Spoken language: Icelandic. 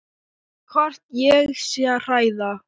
Hvort ég sé að hræða.